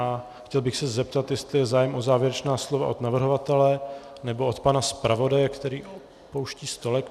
A chtěl bych se zeptat, jestli je zájem o závěrečná slova od navrhovatele nebo od pana zpravodaje, který opouští stolek .